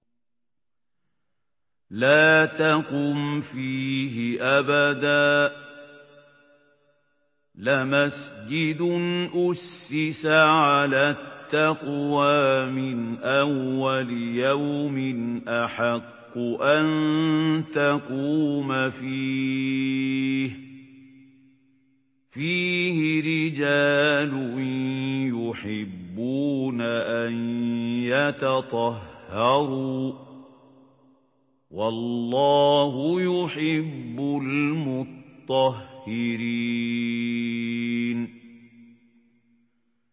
لَا تَقُمْ فِيهِ أَبَدًا ۚ لَّمَسْجِدٌ أُسِّسَ عَلَى التَّقْوَىٰ مِنْ أَوَّلِ يَوْمٍ أَحَقُّ أَن تَقُومَ فِيهِ ۚ فِيهِ رِجَالٌ يُحِبُّونَ أَن يَتَطَهَّرُوا ۚ وَاللَّهُ يُحِبُّ الْمُطَّهِّرِينَ